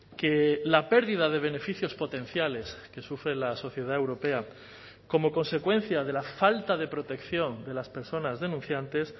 que la pérdida de beneficios potenciales que sufre la sociedad europea como consecuencia de la falta de protección de las personas denunciantes